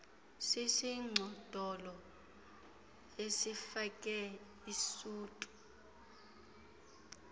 sisigcodolo esifake isuti